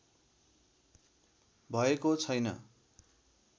भएको छैन